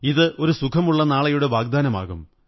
ഇത് ഒരു സുഖമുള്ള നാളെയുടെ വാഗ്ദാനമാകും